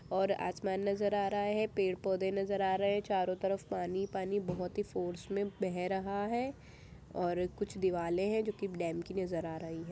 और आसमान नज़र आ रहा है । पेड़ पौधे नज़र आ रहे हैं चारो तरफ पानी पानी बहुत ही फोर्स में बह रहा है और कुछ दिवालें हैं जोकि डैम की नज़र आ रही हैं ।